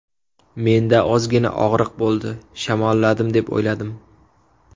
Menda ozgina og‘riq bo‘ldi, shamolladim deb o‘yladim.